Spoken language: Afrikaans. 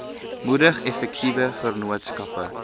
moedig effektiewe vennootskappe